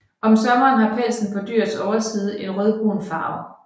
Om sommeren har pelsen på dyrets overside en rødbrun farve